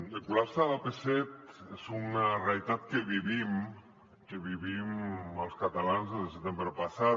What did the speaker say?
el col·lapse de l’ap set és una realitat que vivim que vivim els catalans des del setembre passat